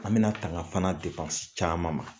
An bɛna tanga fana depansi caman fana ma.